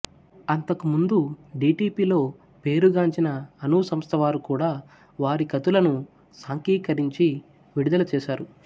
అంతకు ముందు డీటీపీలో పేరుగాంచిన అను సంస్థ వారు కూడా వారి ఖతులను సాంఖ్యీకరించి విడుదల చేసారు